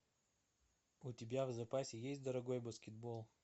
у тебя в запасе есть дорогой баскетбол